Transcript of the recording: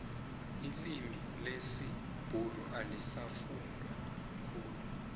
ilimi lesibhuru alisafundwa khulu